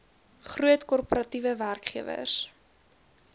groot korporatiewe werkgewers